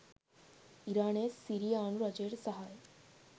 ඉරානය සිරියානු රජයට සහාය